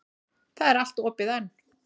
Það er allt opið enn.